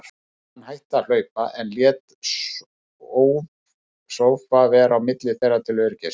Hann hætti að hlaupa, en lét sófa vera á milli þeirra til öryggis.